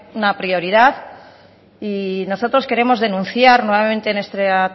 una prioridad y nosotros queremos denunciar nuevamente en esta